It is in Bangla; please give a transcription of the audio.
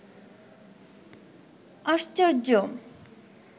আশ্চর্য